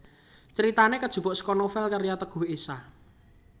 Critane kajupuk saka novel karya Teguh Esha